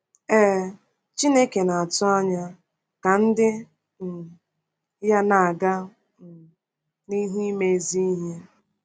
Ee, Chineke na-atụ anya ka ndị um ya na-aga um n’ihu ime ezi ihe.